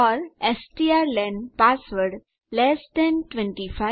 or strlen password less than 25